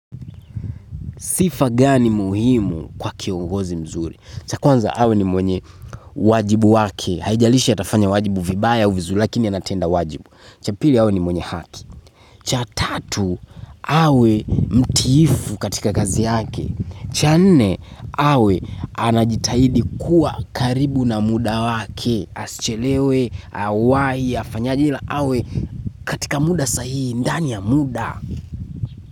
Sifa gani muhimu kwa kiongozi mzuri. Cha kwanza awe ni mwenye wajibu wake. Haijalisha atafanya wajibu vibaya au vizuri lakini anatenda wajibu. Cha pili awe ni mwenye haki. Cha tatu awe mtiifu katika kazi yake. Cha nne awe anajitahidi kuwa karibu na muda wake. Asichelewe, awahi, afanyaje ila awe katika muda sahihi ndani ya muda.